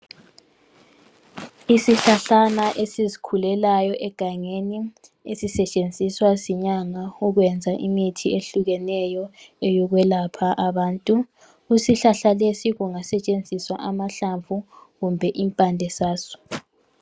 Isihlahlana esizikhulelayo egangeni esisetshenziswa izinyanga ukwenza imithi ehlukeneyo ukwelapha abantu kusihlahla lesi kungasetshenziswa amahlamvu kumbe impande zazo.